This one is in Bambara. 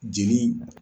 Jeli